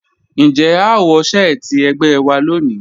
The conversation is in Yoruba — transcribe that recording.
Njẹ́ à wọ̀ sẹ̀ẹtí ẹ̀gbẹ́ wà lónì?